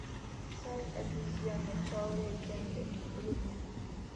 царь обезьян начало легенды вруби